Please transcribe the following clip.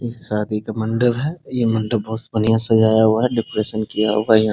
इ शादी का मंडप है। ये मंडप बहुत बढ़िया सजाया हुआ है। डेकोरेशन किया हुआ है यहाँ |